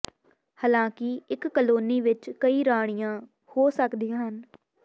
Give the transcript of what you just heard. ਹਾਲਾਂਕਿ ਇੱਕ ਕਲੋਨੀ ਵਿੱਚ ਕਈ ਰਾਣੀਆਂ ਹੋ ਸਕਦੀਆਂ ਹਨ